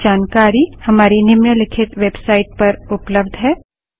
अधिक जानकारी हमारी निम्नलिखित वेबसाइट httpspoken tutorialorgNMEICT Intro पर उपलब्ध है